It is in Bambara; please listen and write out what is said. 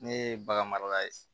Ne ye bagan mara ye